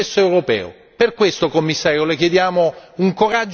Per questo, Commissario, le chiediamo un coraggio della proposta.